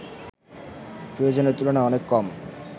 প্রয়োজনের তুলনায় অনেক কম